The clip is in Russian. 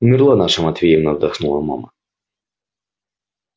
умерла наша матвеевна вдохнула мама